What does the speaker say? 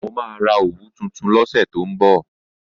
Mo máa ra òwú tuntun lọ́sẹ̀ tó ń bọ̀